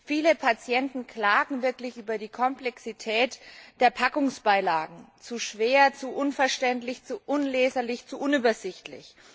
Viele Patienten klagen wirklich über die Komplexität der Packungsbeilagen zu schwer, zu unverständlich, zu unleserlich, zu unübersichtlich.